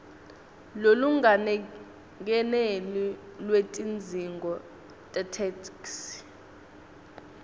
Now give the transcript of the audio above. lolungakeneli lwetidzingo tetheksthi